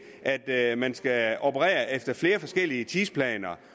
at man skal operere efter flere forskellige tidsplaner